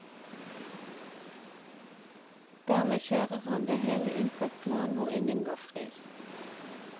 Dermed kjører han det hele inn på et plan hvor ingen går fri.